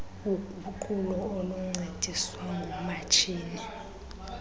uguqulo oluncediswa ngumatshini